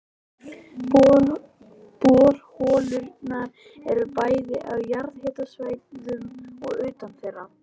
Borholurnar eru bæði á jarðhitasvæðum og utan þeirra.